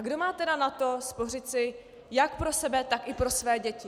A kdo má tedy na to spořit si jak pro sebe, tak i pro své děti?